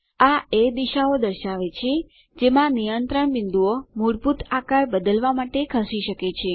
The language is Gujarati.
આ એ દિશાઓ દર્શાવે છે જેમાં નિયંત્રણ બિંદુઓ મૂળભૂત આકાર બદલવા માટે ખસી શકે છે